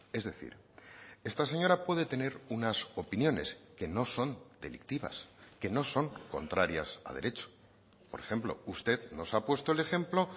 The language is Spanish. es decir esta señora puede tener unas opiniones que no son delictivas que no son contrarias a derecho por ejemplo usted nos ha puesto el ejemplo